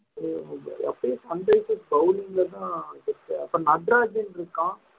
இருந்தது அப்படியே bowling லதான் இருக்கு அப்ப நடராஜன் இருக்கான்